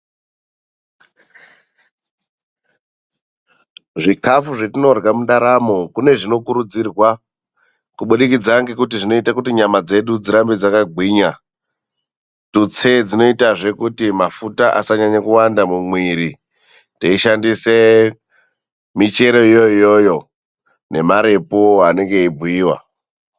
Zvikafu zvetinorya mundaramo kune zvinokurudzirwa kubudikidza ngekuti zvinoite kuti nyama dzedu dzirambe dzakagwinya, tutse dzinoitazve kuti mafuta asanyanya kuwanda mumuiri, teishandise michero yona iyoyo nemarepu anenge eibhuyiwa.